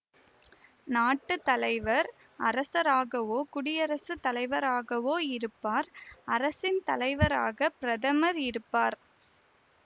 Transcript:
நாட்டு தலைவர் அரசராகவோ குடியரசு தலைவராகவோ இருப்பார் அரசின் தலைவராக பிரதமர் இருப்பார்